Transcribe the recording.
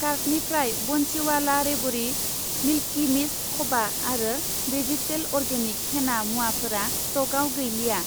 कार्टनिफ्राय बन्सिवाला रेबरि, मिल्कि मिस्त खबा आरो वेजितेल अर्गेनिक हेना मुवाफोरा स्टकआव गैलिया।